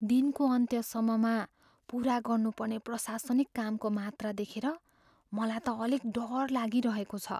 दिनको अन्त्यसम्ममा पुरा गर्नुपर्ने प्रशासनिक कामको मात्रा देखेर मलाई त अलिक डर लागिरहेको छ।